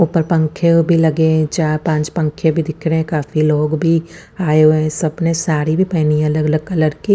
ऊपर पंखे भी लगे हुए है चार पांच पंखे भी दिख रहे है काफी लोग भी आये हुए ह सबने साड़ी भी पहनी है अलग अलग कलर की--